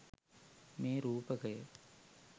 මේ රූපකය